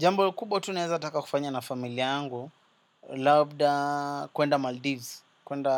Jambo kubwa tu neza taka kufanya na familia angu labda kuenda Maldives kuenda